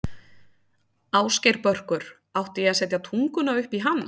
Ásgeir Börkur: Átti ég að setja tunguna upp í hann?